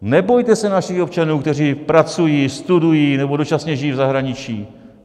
Nebojte se našich občanů, kteří pracují, studují nebo dočasně žijí v zahraničí.